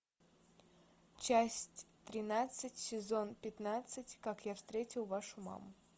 часть тринадцать сезон пятнадцать как я встретил вашу маму